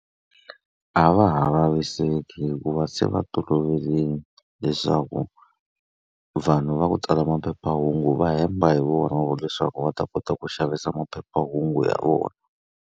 A va ha vaviseki hikuva se va toloverile leswaku vanhu va ku tsala maphephahungu va hemba hi vona leswaku va ta kota ku xavisa maphephahungu ya vona.